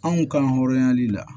Anw ka hɔrɔnyali la